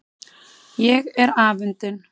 Ég er afundin.